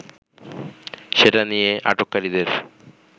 সেটা নিয়ে আটককারীদের